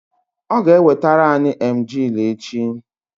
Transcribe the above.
ọ ga-ewetara anyị emajli echi